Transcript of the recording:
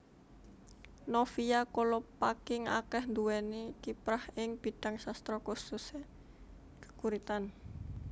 Novia Kolopaking akéh nduwéni kiprah ing bidhang sastra khususe geguritan